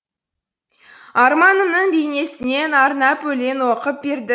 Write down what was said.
арманымның бейнесінен арнап өлең оқып берді